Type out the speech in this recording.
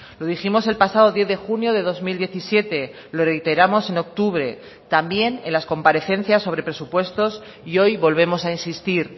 lo dijimos el pasado diez de junio de dos mil diecisiete lo reiteramos en octubre también en las comparecencias sobre presupuestos y hoy volvemos a insistir